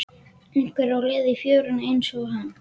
Einhver á leið í fjöruna einsog hann.